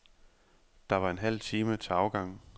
Der var en halv time til afgang.